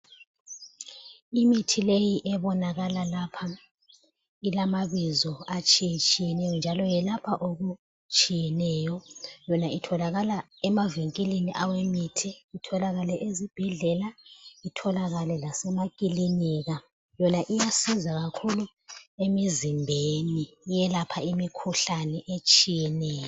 Imithi leyi ebonakala lapha ilamabizo atshiye tshiyeneyo njalo yelapha okutshiyeneyo yona itholakala emavinkilini awemithi, itholakale ezi bhedlela, itholakale lasemakilinika, yona iyasiza kakhulu emizimbeni iyelapha imikhuhlane etshiyeneyo.